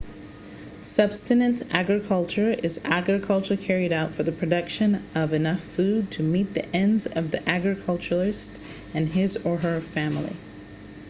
subsistence agriculture is agriculture carried out for the production of enough food to meet just the needs of the agriculturalist and his/her family